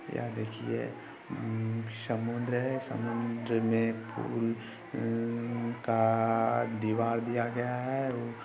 यहाँ देखिये उमम समुंद्र है समुंद्र में पूल का हह काआआ दीवार दिया गया है।